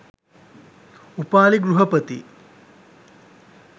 Upali ගෘහපති